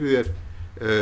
þér